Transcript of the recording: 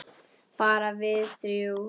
Bara við þrjú.